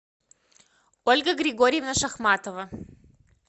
ольга григорьевна шахматова